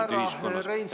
Aitäh, härra Reinsalu!